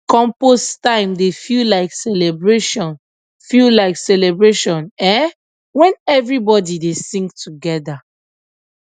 compost time dey feel like celebration feel like celebration um when everybody dey sing together